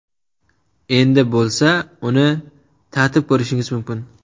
Endi bo‘lsa, uni tatib ko‘rishingiz mumkin!.